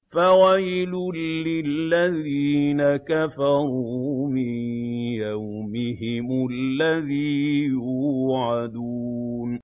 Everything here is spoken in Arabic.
فَوَيْلٌ لِّلَّذِينَ كَفَرُوا مِن يَوْمِهِمُ الَّذِي يُوعَدُونَ